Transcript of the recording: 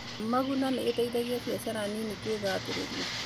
Maguna nĩ ĩteithagia biacara nini kwĩgathĩrĩria.